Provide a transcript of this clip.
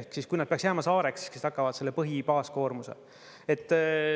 ehk siis, kui nad peaks jääma saareks, kes tagavad selle põhibaaskoormuse.